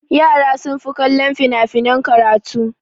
Yara sun fi kallon fina-finan karatu.